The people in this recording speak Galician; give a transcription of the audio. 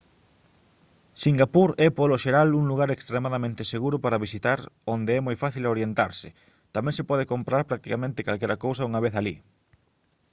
singapur é polo xeral un lugar extremadamente seguro para visitar onde é moi fácil orientarse tamén se pode comprar practicamente calquera cousa unha vez alí